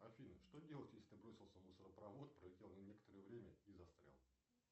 афина что делать если бросился в мусоропровод пролетел некоторое время и застрял